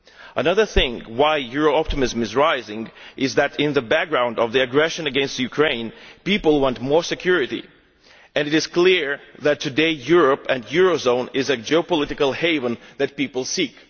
Another reason why euro optimism is rising is that against the background of the aggression against Ukraine, people want more security and it is clear today that Europe and the euro area are a geopolitical haven that people seek.